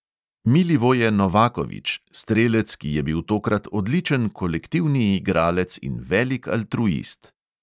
Milivoje novakovič: strelec, ki je bil tokrat odličen kolektivni igralec in velik altruist.